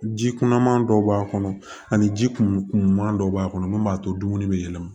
Ji kunaman dɔw b'a kɔnɔ ani ji kunman dɔw b'a kɔnɔ mun b'a to dumuni bɛ yɛlɛma